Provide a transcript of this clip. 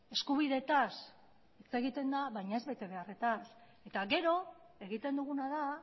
eskubideetaz hitz egiten da baina ez betebeharretaz eta gero egiten duguna da